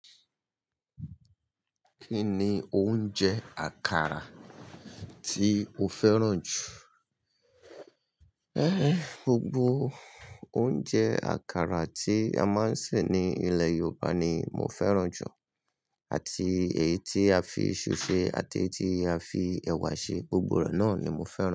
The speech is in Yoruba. Kí ni oúnjẹ àkàrà tí o fẹ́ràn jù? Ë, gbogbo oúnjẹ àkàrà tí a máa ń sè ní ilẹ̀ Yorùbá ni mo fẹ́ràn jù, àti èyí tí a fi ìṣù ṣe àti èyí tí a fi ẹ̀wà ṣe, gbogbo rẹ̀ náà ni mo fẹ́ràn.